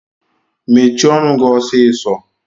Shut up your mouth now!!